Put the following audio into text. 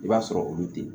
I b'a sɔrɔ olu te